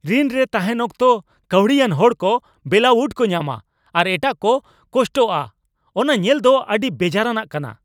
ᱨᱤᱱ ᱨᱮ ᱛᱟᱦᱮᱸᱱ ᱚᱠᱛᱚ ᱠᱟᱹᱣᱰᱤ ᱟᱱ ᱦᱚᱲ ᱠᱚ ᱵᱮᱞᱟᱹᱣᱩᱴ ᱠᱚ ᱧᱟᱢᱟ ᱟᱨ ᱮᱴᱟᱜ ᱠᱚ ᱠᱚᱥᱴᱚᱜᱼᱟ ᱚᱱᱟ ᱧᱮᱞ ᱫᱚ ᱟᱹᱰᱤ ᱵᱮᱡᱟᱨᱟᱱᱟᱜ ᱠᱟᱱᱟ ᱾